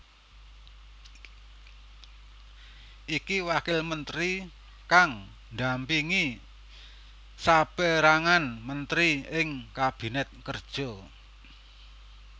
Iki wakil menteri kang ndampingi saperangan menteri ing Kabinet Kerja